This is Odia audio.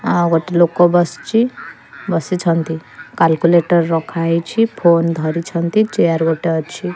ଆଉ ଗୋଟେ ଲୋକ ବସିଚି ବସିଛନ୍ତି କାଲୁକୁଲେଟର ରଖା ହେଇଚି ଫୋନ୍ ଧରିଛନ୍ତି ଚେୟାର ଗୋଟେ ଅଛି।